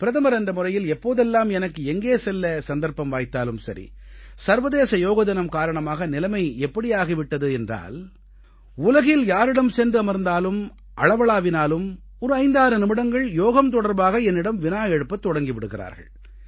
பிரதமர் என்ற முறையில் எப்போதெல்லாம் எனக்கு எங்கே செல்ல சந்தர்ப்பம் வாய்த்தாலும் சரி சர்வதேச யோகதினம் காரணமாக நிலைமை எப்படி ஆகி விட்டது என்றால் உலகில் யாரிடம் சென்று அமர்ந்தாலும் அளவளாவினாலும் ஒரு 56 நிமிடங்கள் யோகம் தொடர்பாக என்னிடம் வினா எழுப்பத் தொடங்கி விடுகிறார்கள்